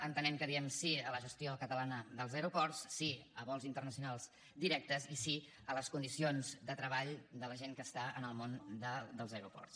entenem que diem sí a la gestió catalana dels aeroports sí a vols internacionals directes i sí a les condicions de treball de la gent que està en el món dels aeroports